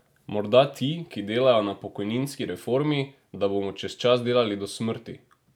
Morda ti, ki delajo na pokojninski reformi, da bomo čez čas delali do smrti?